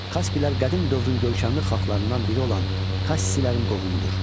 Kasplər qədim dövrün görkəmli xalqlarından biri olan Kassilərin qohumudur.